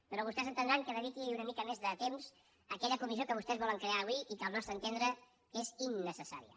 però vostès entendran que dediqui una mica més de temps a aquella comissió que vostès volen crear avui i que al nostre entendre és innecessària